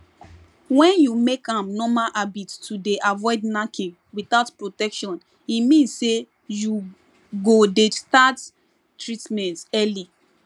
wen you make am normal habit to dey avoid knacking without protection e mean say you go dey start treatment early